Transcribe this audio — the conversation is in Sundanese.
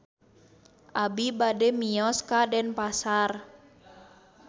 Abi bade mios ka Denpasar